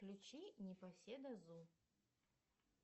включи непоседа зу